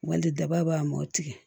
Wali daba b'a mɔ tigɛ